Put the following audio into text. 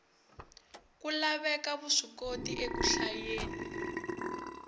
ku laveka vuswikoti eku hlayeni